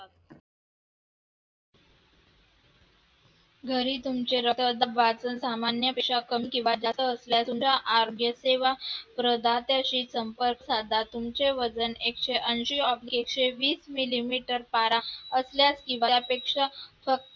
घरी तुमचे रक्तदाब सामान्यापेक्षा जास्त किंवा कमी असल्यास किंवा प्रदात्यांशी संपर्क साधा तुमचे वजन एकशे ऐंशी oblique एकशे वीस मिलीमीटर पारा असल्यास किंवा त्यापेक्षा फक्त